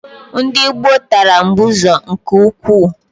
Ndị gboo tara mbụzọ nke ukwuu.